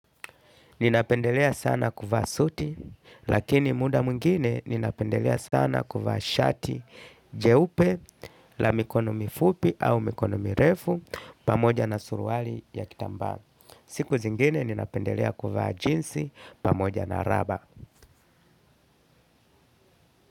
Ninapendelea sana kuvaa suti, lakini muda mwingine ninapendelea sana kuvaa shati jeupe la mikono mifupi au mikono mirefu, pamoja na suruali ya kitambaa. Siku zingine ninapendelea kuvaa jinsi pamoja na raba.